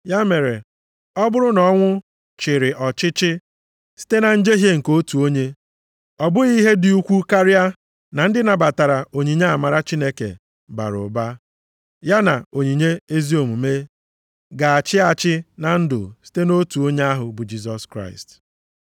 Ya mere, ọ bụrụ na ọnwụ chịrị ọchịchị site na njehie nke otu onye, ọ bụghị ihe dị ukwu karịa na ndị nabatara onyinye amara Chineke bara ụba, ya na onyinye ezi omume, ga-achị achị na ndụ site nʼotu onye ahụ bụ Jisọs Kraịst.